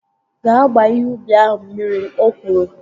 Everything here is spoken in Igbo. Gaa gbaa ihe ubi ahụ mmiri! O kwuru